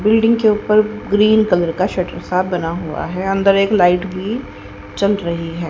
Building के ऊपर green colour का शटर सा बना हुआ है अंदर एक लाइट भी जल रही है।